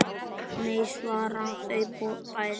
Nei svara þau bæði.